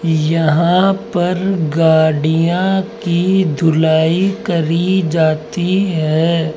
यहां पर गाड़ियां की धुलाई करी जाती है।